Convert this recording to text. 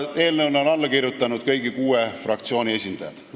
Eelnõule on alla kirjutanud kõigi kuue fraktsiooni esindajad.